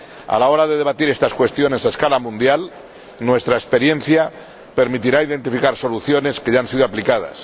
A la hora de debatir estas cuestiones a escala mundial, nuestra experiencia permitirá identificar soluciones que ya han sido aplicadas.